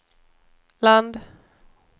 land